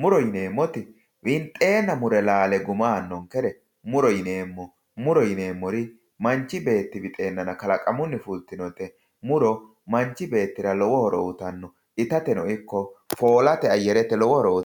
muro yineemmoti winxenna laale guma aanonkere muro yineemmo, muro yineemmori manchi beetti wixenanna kalaqamunni fultinote muro manchi beettira lowo horo uyittano, ittate ikko foolate ayarete lowo horo uyittano.